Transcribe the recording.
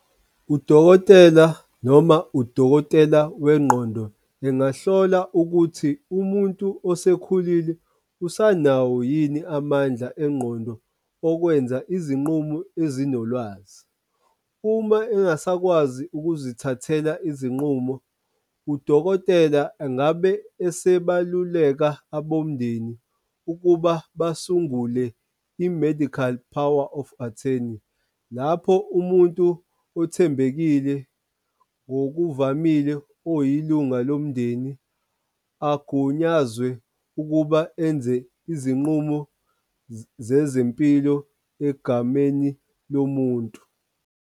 Udokotela noma udokotela wengqondo engahlola ukuthi umuntu osekhulile usanawo yini amandla engqondo okwenza izinqumo ezinolwazi. Uma engasakwazi ukuzithathela izinqumo, udokotela angabe esebaluleka abomndeni ukuba basungule i-medical power of attorney, lapho umuntu othembekile ngokuvamile oyilunga lomndeni, agunyazwe ukuba enze izinqumo zezempilo egameni lomuntu.